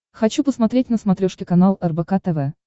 хочу посмотреть на смотрешке канал рбк тв